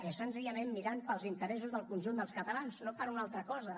és senzillament mirant pels interessos del conjunt dels catalans no per una altra cosa